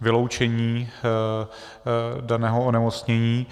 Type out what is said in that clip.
vyloučení daného onemocnění.